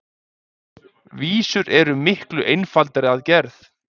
Vísur eru miklu einfaldari að gerð.